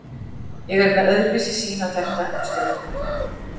Ég er með öðruvísi sýn á þetta en stjórnin.